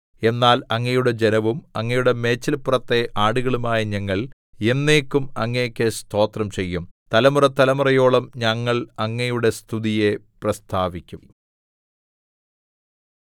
എന്നാൽ അങ്ങയുടെ ജനവും അങ്ങയുടെ മേച്ചില്പുറത്തെ ആടുകളുമായ ഞങ്ങൾ എന്നേക്കും അങ്ങേക്ക് സ്തോത്രം ചെയ്യും തലമുറതലമുറയോളം ഞങ്ങൾ അങ്ങയുടെ സ്തുതിയെ പ്രസ്താവിക്കും